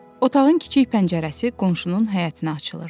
Otağın kiçik pəncərəsi qonşunun həyətinə açılırdı.